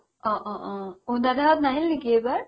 অ অ ঔ দাদা হ'ত নাহিল নেকি এইবাৰ